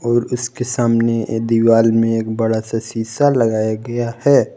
और उसके सामने दीवाल में एक बड़ा सा शिशा लगाया गया है।